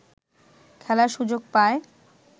খেলার সুযোগ পায়